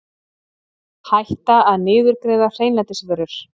Hætta að niðurgreiða hreinlætisvörur